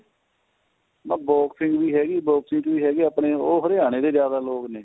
ਮੇਨੀ ਕਿਹਾ boxing ਵੀ ਹੈਗੀ ਆਪਣੇ ਉਹ ਹਰਿਆਣੇ ਦੇ ਜਿਆਦਾ ਲੋਕ ਨੇ